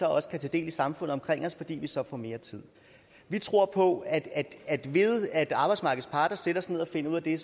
også kan tage del i samfundet omkring os fordi vi så får mere tid vi tror på at at ved at arbejdsmarkedets parter sætter sig ned og finder ud af det